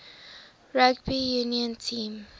rugby union team